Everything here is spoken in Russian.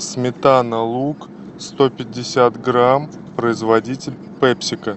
сметана лук сто пятьдесят грамм производитель пепсико